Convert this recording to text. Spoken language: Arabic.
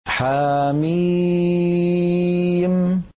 حم